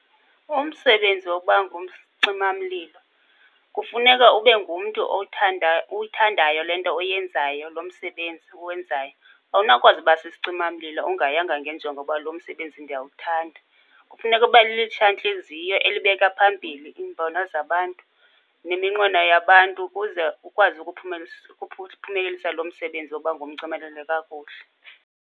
Umsebenzi wokuba ngumcimamlilo kufuneka ube ngumntu owuthandayo, uyithandayo le nto oyenzayo, lo msebenzi uwenzayo. Awunawukwazi uba sisicimamlilo ungayanga ngenjongo yoba lo msebenzi ndiyawuthanda. Kufuneka ube nelitshantliziyo elibeka phambili iimbono zabantu neminqweno yabantu ukuze ukwazi ukuphumelelisa, ukuphumelelisa lo msebenzi wokuba ngumcimeleli kakuhle.